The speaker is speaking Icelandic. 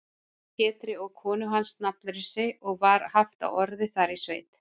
Pétri og konu hans nafnlausri, og var haft á orði þar í sveit.